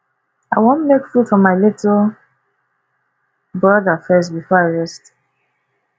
i wan make food for my little broda first before i rest